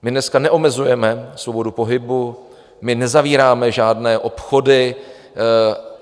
My dneska neomezujeme svobodu pohybu, my nezavíráme žádné obchody.